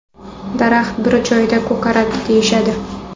Daraxt bir joyda ko‘karadi deyishadi.